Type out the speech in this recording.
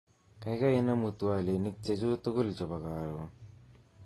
Kaikai inemu twolinik chechu tugul chebo karon